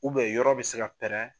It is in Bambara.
yɔrɔ bɛ se ka pɛrɛn